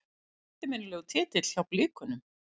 Eftirminnilegur titill hjá Blikunum.